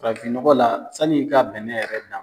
Farafin nɔgɔ la sani k'a bɛn ne yɛrɛ ta ma